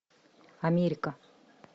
америка